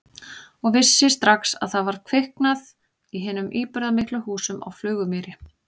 Og vissi strax að það var kviknað í hinum íburðarmiklu húsum á Flugumýri.